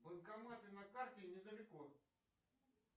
банкоматы на карте недалеко